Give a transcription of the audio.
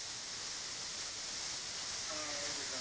ah okay sir